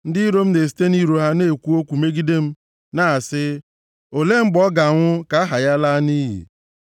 Ndị iro m na-esite nʼiro ha ekwu okwu megide m na-asị, “Olee mgbe ọ ga-anwụ ka aha ya laa nʼiyi?”